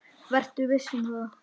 Vertu viss um það.